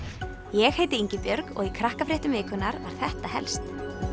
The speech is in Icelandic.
ég heiti Ingibjörg og í Krakkafréttum vikunnar var þetta helst